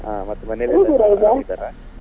ಆ ಮತ್ತೆ ಮನೇಲಿ ಆರಾಮಿದ್ದಾರಾ?